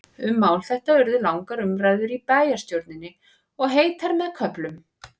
Um mál þetta urðu langar umræður í bæjarstjórninni, og heitar með köflum.